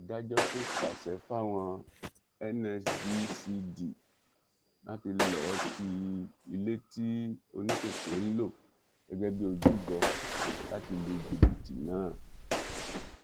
adájọ tún pàṣẹ fáwọn nsdcd láti lọọ ti ilé tí oníkèké ń lò gẹgẹ bíi ojúbọ láti lu jìbìtì náà